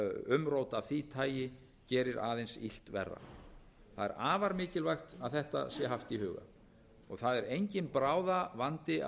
umrót af því tagi gerir aðeins illt verra það er afar mikilvægt að þetta sé haft í huga það er enginn bráðavandi